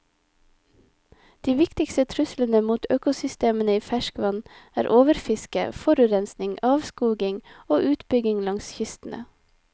De viktigste truslene mot økosystemene i ferskvann er overfiske, forurensning, avskoging og utbygging langs kystene.